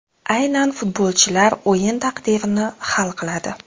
Aynan futbolchilar o‘yin taqdirini hal qiladi.